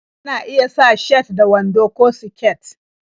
Mata na iya sa shat da wando ko siket